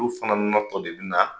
Olu fana natɔ de bna